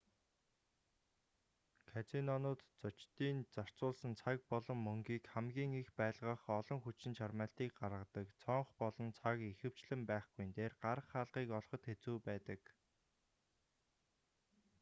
казинонууд зочдын зарцуулсан цаг болон мөнгийг хамгийн их байлгах олон хүчин чармайлтыг гаргадаг цонх болон цаг ихэвчлэн байхгүйн дээр гарах хаалгыг олоход хэцүү байдаг